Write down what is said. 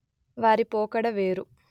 వారి పోకడ వేరు